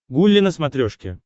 гулли на смотрешке